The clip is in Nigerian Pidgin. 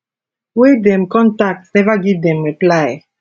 wey dem contact neva give dem reply